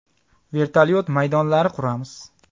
Vertolyuot maydonlari quramiz.